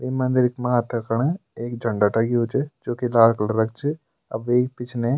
ये मंदिर मा तखण एक झंडा टंग्यु च जोकि लाल कलरो क च अ वेक पिछने --